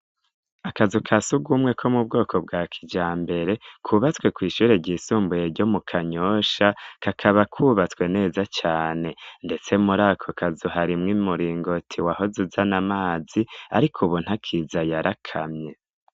Akazu ka si ugumwe ko mu bwoko bwa kija mbere kwubatswe kw'ishure ryisumbuye ryo mu kanyosha kakaba kwubatswe neza cane, ndetse muri ako kaz uharimwo i muringoti waho ze uzana amazi, ariko ubonta akiza yarakamye.